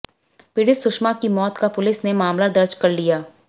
पीडि़त सुषमा की मौत का पुलिस ने मामला दर्ज कर लिया